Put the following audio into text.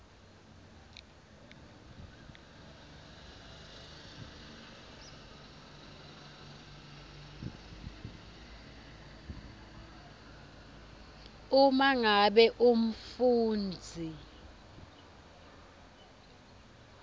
uma ngabe umfundzi